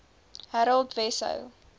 harold wesso